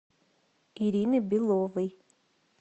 ирины беловой